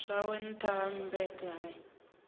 zwawe nṱtha ha mmbete hai